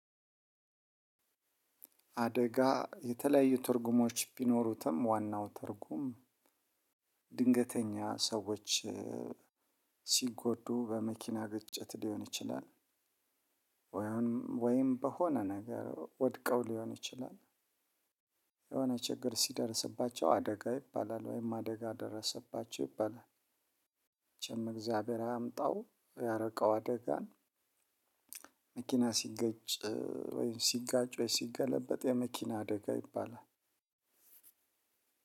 አደጋ የተለያዩ ትርጉሞች ቢኖሩትም ዋናው ትርጉም ድንገተኛ ሰዎች ሲጎዱ በመኪና ግጭት ሊሆን ይችላል። ወይም በሆነ ነገር ወድቀው ሊሆን ይችላል። የሆነ ችግር ሲደርስባቸው አደጋ ይባላል ወይም አደጋ ደረሰባቸው ይባላል። እግዚአብሔር አያምጣው ያሪቀው አደጋን። መኪና ሲገጭ ወይም ሲጋጭ ወይም ሲገለበጥ የመኪና አደጋ ይባላል።